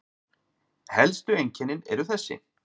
Helstu einkennin eru þessi